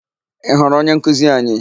Ị hụrụ onyenkuzi anyị?